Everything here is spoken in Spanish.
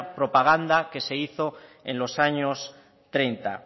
propaganda que se hizo en los años treinta